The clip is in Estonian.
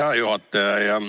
Hea juhataja!